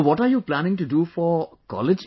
so what are you planning to do for college